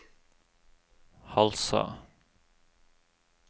Halsa